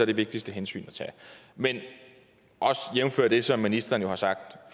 det vigtigste hensyn at tage men jævnfør det som ministeren jo har sagt